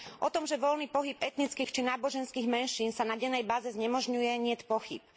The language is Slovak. O tom, že voľný pohyb etnických či náboženských menšín sa na dennej báze znemožňuje, niet pochýb.